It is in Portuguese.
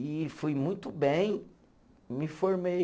E fui muito bem, me formei.